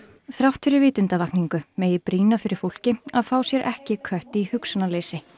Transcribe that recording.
þrátt fyrir vitundarvakningu megi brýna fyrir fólki að fá sér ekki kött í hugsunarleysi